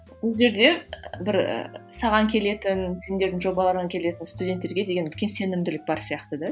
бұл жерде бір і саған келетін сендердің жобаларыңа келетін студенттерге деген үлкен сенімділік бар сияқты да